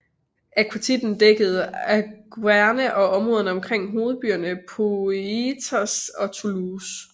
Aquitanien dækkede Auvergne og områderne omkring hovedbyerne Poitiers og Toulouse